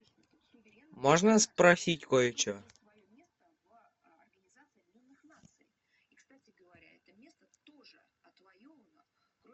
можно спросить кое что